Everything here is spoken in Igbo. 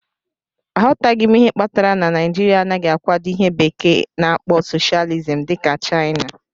Aghọtaghị m ihe kpatara na Naijiria anaghị akwado ihe bekee na-akpo socialism dị ka Chaina.